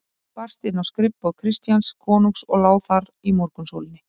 Bréf barst inn á skrifborð Christians konungs og lá þar í morgunsólinni.